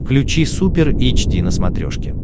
включи супер эйч ди на смотрешке